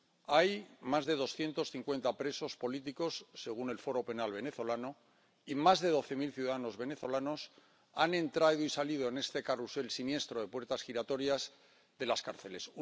Hay más de doscientos cincuenta presos políticos, según el Foro Penal Venezolano, y más de doce mil ciudadanos venezolanos han entrado y salido en este carrusel siniestro de puertas giratorias de las cárceles